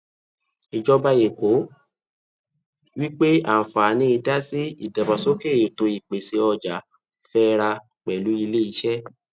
ìjọba èkó wípé anfààní dasi ìdàgbàsókè ètò ìpèsè ọjà fẹ ra pẹlú ilé iṣé